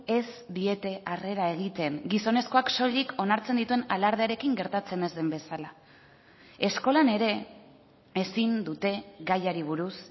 ez diete harrera egiten gizonezkoak soilik onartzen dituen alardearekin gertatzen ez den bezala eskolan ere ezin dute gaiari buruz